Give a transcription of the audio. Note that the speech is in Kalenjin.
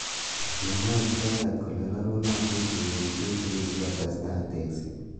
Kimwa icheket kole rerunotin tukuk tutikin sikotestai tekset.